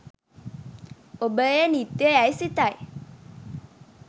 ඔබ එය නිත්‍ය යැයි සිතයි.